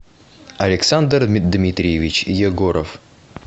александр дмитриевич егоров